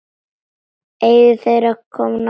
Eiga þeir þá nokkra von.